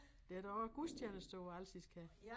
Der der også gudstjenester på alsisk her